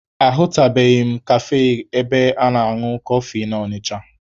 Ahụtubeghị m kafe ebe a na-añụ kọfị na Ọnịcha.